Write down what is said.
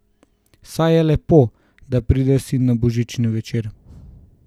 Saj je lepo, da pride sin na božični večer.